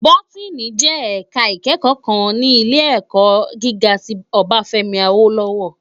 Bótìní jè èká ikèékò kán ni ilé èkò gigá ti Obafemi Awolowo